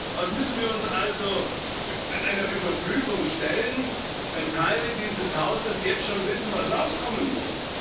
Was müssen wir uns also einer Überprüfung stellen, wenn Teile dieses Hauses jetzt schon wissen, was rauskommen muss?